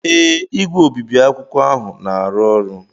ee, igwe obibi akwụkwọ ahụ na-arụ ọrụ.